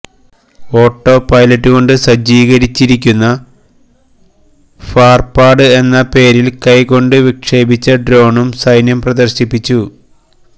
autopilot കൊണ്ട് സജ്ജീകരിച്ചിരിക്കുന്ന ഫാര്പാഡ് എന്ന പേരില് കൈകൊണ്ട് വിക്ഷേപിച്ച ഡ്രോണും സൈന്യം പ്രദര്ശിപ്പിച്ചു